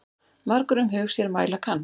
Margur um hug sér mæla kann.